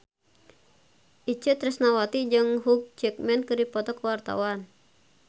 Itje Tresnawati jeung Hugh Jackman keur dipoto ku wartawan